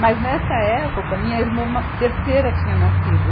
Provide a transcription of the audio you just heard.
Mas nessa época, minha irmã ma, terceira tinha nascido.